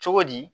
Cogo di